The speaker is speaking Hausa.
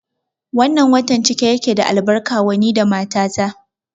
Wannan watan cike yake da albarka wa ni da mata ta